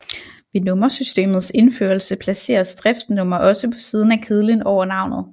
Ved nummersystemets indførelse placeres driftsnummer også på siden af kedlen over navnet